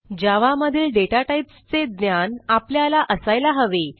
जावा मधील data types चे ज्ञान आपल्याला असायला हवे